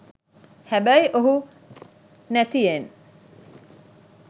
හැබැයි ඔහු නැතියෙන්